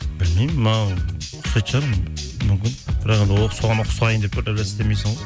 білмеймін маған ұқсайтын шығармын мүмкін бірақ енді оған ұқсайын деп істемейсің ғой